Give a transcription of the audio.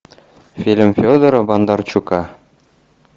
фильм федора бондарчука